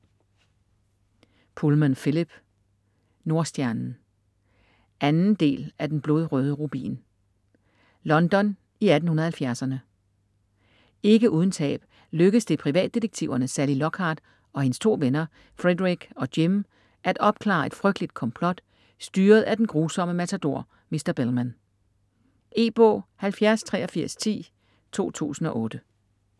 Pullman, Philip: Nordstjernen 2. del af Den blodrøde rubin. London i 1870'erne. Ikke uden tab lykkes det privatdetektiverne Sally Lockhart og hendes to venner Frederick og Jim at opklare et frygteligt komplot, styret af den grusomme matador Mr. Bellmann. E-bog 708310 2008.